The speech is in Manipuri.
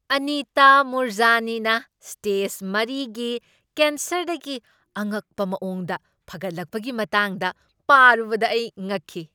ꯑꯅꯤꯇꯥ ꯃꯨꯔꯖꯥꯅꯤꯅ ꯁ꯭ꯇꯦꯖ ꯃꯔꯤꯒꯤ ꯀꯦꯟꯁꯔꯗꯒꯤ ꯑꯉꯛꯄ ꯃꯑꯣꯡꯗ ꯐꯒꯠꯂꯛꯄꯒꯤ ꯃꯇꯥꯡꯗ ꯄꯥꯔꯨꯕꯗ ꯑꯩ ꯉꯛꯈꯤ꯫